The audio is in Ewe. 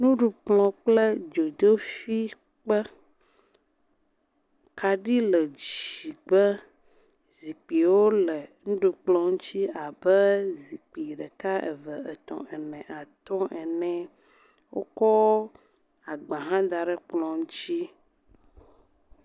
Nuɖukplɔ kple dzoƒi ƒe. Kaɖi le dzi gbe. Zikpuiwo le nuɖukplɔ ŋtsi abe zikpui ɖeka, eve, etɔ̃, ene, atɔ̃ ene. Wokɔ agba hã da ɖe kplɔ dzi.